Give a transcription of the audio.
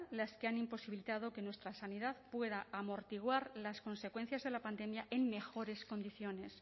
los que han imposibilitado que nuestra sanidad pueda amortiguar las consecuencias de la pandemia en mejores condiciones